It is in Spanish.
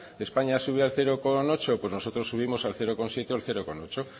españa sube al cero coma ocho pues nosotros subimos al cero coma siete o al cero coma ocho